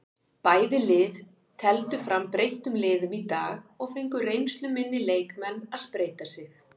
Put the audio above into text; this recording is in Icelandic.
Bæði lið tefldu fram breyttum liðum í dag og fengu reynsluminni leikmenn að spreyta sig.